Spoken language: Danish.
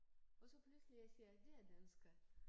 Og så pludselig jeg siger det er danskere